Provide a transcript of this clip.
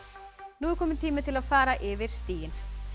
nú er kominn tími til að fara yfir stigin